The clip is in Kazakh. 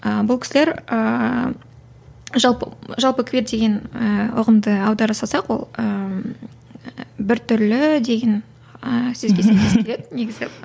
ы бұл кісілер ыыы жалпы жалпы квир деген ііі ұғымды аудара салсақ ол ііі біртүрлі деген ііі сөзге сәйкес келеді негізі